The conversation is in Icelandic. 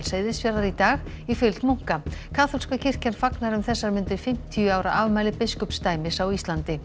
Seyðisfjarðar í dag í fylgd munka kaþólska kirkjan fagnar um þessar mundir fimmtíu ára afmæli biskupsdæmis á Íslandi